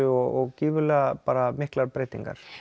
og gífurlega miklar breytingar